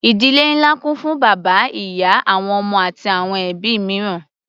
Ìdílé ńlá kún fún bàbá, ìyá, àwọn ọmọ wọn àti àwọn ẹbí mìíràn.